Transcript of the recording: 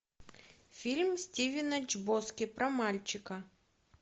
фильм стивена чбоски про мальчика